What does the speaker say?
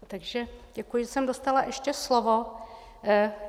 Takže děkuji, že jsem dostala ještě slovo.